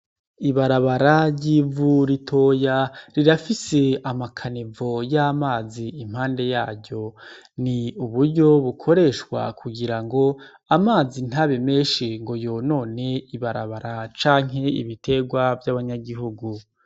Ibarabara ry'ivu ritoya rirafise amakanevu acamwo amazi impande yaryo n'uburyo bukoreshwa kugirango amazi ntabe menshi ngo yonone ibarabara cank 'ibiterwa vy'abanyagihugu